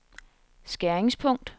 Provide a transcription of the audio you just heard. skæringspunkt